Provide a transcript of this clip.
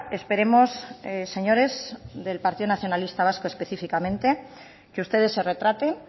esperemos señores del partido nacionalista vasco específicamente que ustedes se retraten